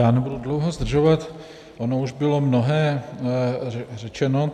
Já nebudu dlouho zdržovat, ono už bylo mnohé řečeno.